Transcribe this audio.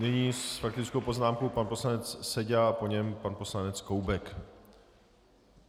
Nyní s faktickou poznámkou pan poslanec Seďa a po něm pan poslanec Koubek.